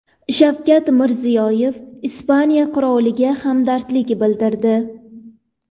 Shavkat Mirziyoyev Ispaniya qiroliga hamdardlik bildirdi.